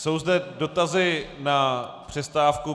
Jsou zde dotazy na přestávku.